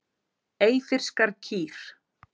Eyfirskar kýr.